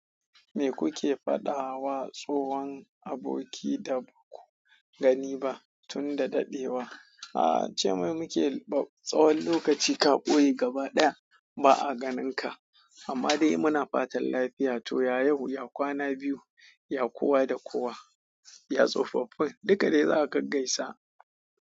Me kuke faɗawa tsohon aboki da baku gani ba tun da dadewa? A'a, ce mai muke, tsawon lokaci ka ɓoye gaba ɗaya ba a ganinka amma dai muna fatan lafiya. To, ya yau, ya kwana biyu, ya kuwa da kuwa, ya tsofaffi, duka dai za ka gaisa.